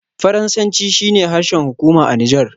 Faransanci shi ne harshen hukuma a Nijar.